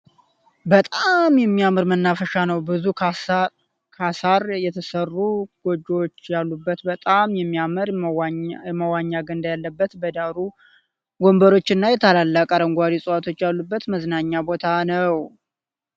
በጣም የሚያምር መናፈሻ ነው ። ብዙ ከሳር የተሰሩ ጎጆዎች ያሉበት በጣም የሚያምር የመዋኛ ገንዳ ያለበት በዳሩ ወንበሮች እና ታላላቅ አረንጓዴ ዕፅዋቶች ያሉበት መዝናኛ ቦታ ነው ።